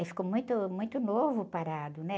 Aí ficou muito, muito novo parado, né?